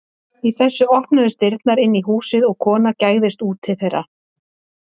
Í þessu opnuðust dyrnar inn í húsið og kona gægðist út til þeirra.